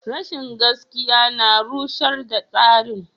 Rashin gaskiya na rushar da tsarin.